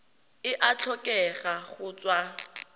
e a tlhokega go tswa